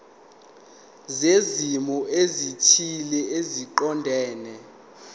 zezimo ezithile eziqondene